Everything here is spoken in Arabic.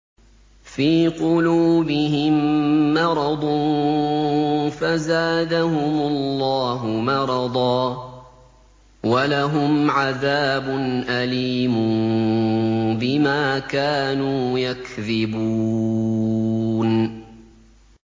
فِي قُلُوبِهِم مَّرَضٌ فَزَادَهُمُ اللَّهُ مَرَضًا ۖ وَلَهُمْ عَذَابٌ أَلِيمٌ بِمَا كَانُوا يَكْذِبُونَ